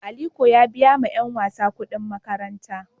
Aliko ya biya wa ;yanyasa kudin makaranta.